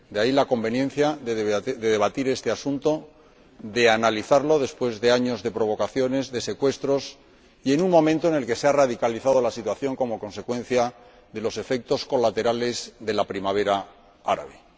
De ahí, la conveniencia de debatir este asunto, de analizarlo después de años de provocaciones y de secuestros, y en un momento en el que se ha radicalizado la situación como consecuencia de los efectos colaterales de la primavera árabe.